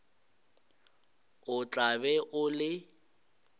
o tla be o le